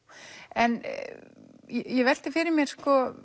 en ég velti því fyrir mér